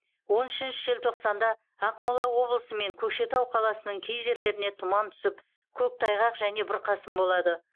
он үшінші желтоқсанда ақмола облысы мен көкшетау қаласының кей жерлеріне тұман түсіп көктайғақ және бұрқасын болады